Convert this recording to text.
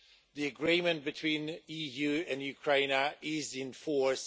The agreement between the EU and Ukraine is in force.